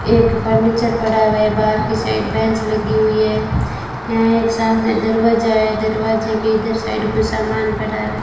एक फर्नीचर पड़ा हुआ है बाहर की साइड बेंच लगी हुई है यहां एक सामने दरवाजा है दरवाजे के इधर साइड कुछ सामान पड़ा है।